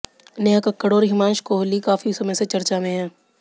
नेहा कक्कड़ और हिमांश कोहली काफ़ी समय से चर्चा में हैं